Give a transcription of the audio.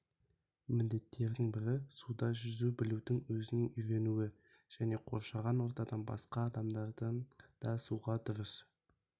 міндеттерінің бірі суда жүзе білуді өзінің үйренуі және қоршаған ортадағы басқа адамдардың да суда дұрыс